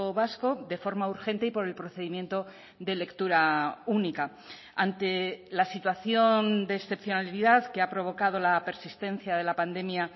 vasco de forma urgente y por el procedimiento de lectura única ante la situación de excepcionalidad que ha provocado la persistencia de la pandemia